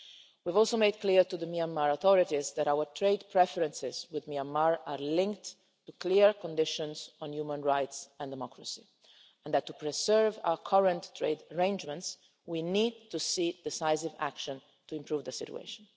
We've also made it clear to the Myanmar authorities that our trade preferences with Myanmar are linked to clear conditions on human rights and democracy and that to preserve our current trade arrangements we need to see decisive action to improve the situation.